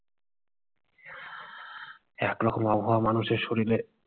এক রকম আবহাওয়া মানুষের শরীরে-